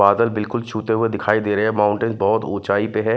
बादल बिल्कुल छूते हुए दिखाई दे रहे हैं माउंटेन बहुत ऊंचाई पे हैं।